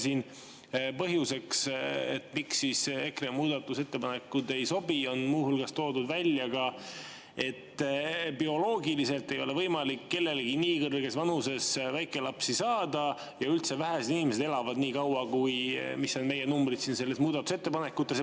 Siin on põhjusena, miks EKRE muudatusettepanekud ei sobi, muu hulgas välja toodud, et bioloogiliselt ei ole võimalik kellelgi nii kõrges vanuses väikelapsi saada ja üldse vähesed inimesed elavad nii kaua, kui on meie numbrid muudatusettepanekutes.